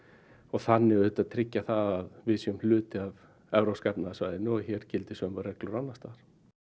þannig tryggja að við séum hluti af evrópska efnahagssvæðinu og hér gildi sömu reglur og annars staðar